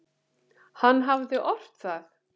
Hann hafði ort það.